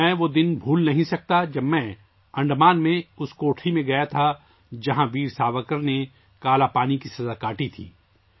میں وہ دن نہیں بھول سکتا ، جب میں انڈمان کے اس سیل میں گیا ، جہاں ویر ساورکر نے کالاپانی کی سزا کاٹی تھی